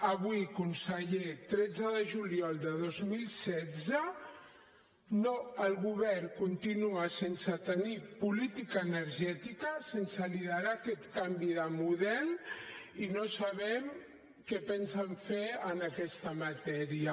avui conseller tretze de juliol de dos mil setze el govern continua sense tenir política energètica sense liderar aquest canvi de model i no sabem què pensen fer en aquesta matèria